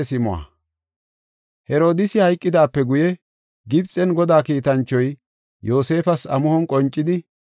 Herodiisi hayqidaape guye Gibxen Godaa kiitanchoy Yoosefas amuhon qoncidi,